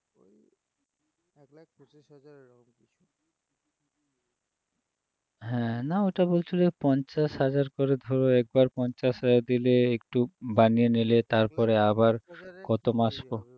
হ্যাঁ, না ওটা বলছিল পঞ্চাশ হাজার করে ধরো একবার পঞ্চাশ হাজার দিলে একটু বানিয়ে নিলে তারপরে আবার কত মাস পর